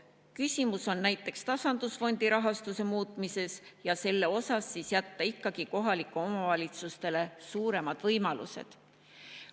Küsimus on näiteks tasandusfondi rahastuse muutmises ja selles, et siis jätta ikkagi kohalikele omavalitsustele suuremad võimalused.